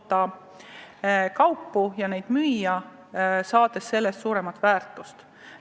Ja neid kaupu tuleb suuta ka müüa ja teenida nende eest lisandväärtust tootes tulu.